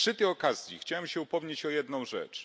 Ale przy tej okazji chciałem się upomnieć o jedną rzecz.